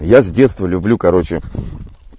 я с детства люблю короче